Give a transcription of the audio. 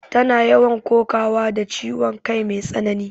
Tana yawan kokawa da ciwon kai mai tsanani